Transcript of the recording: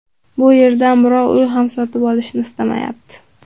Bu yerdan birov uy ham sotib olishni ismayapti.